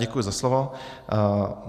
Děkuji za slovo.